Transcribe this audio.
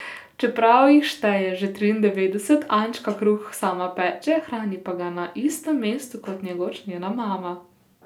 Čeprav jih šteje že triindevetdeset, Ančka kruh sama peče, hrani pa ga na istem mestu kot nekoč njena mama.